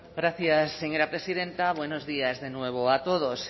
gracias señora presidenta buenos días de nuevo a todos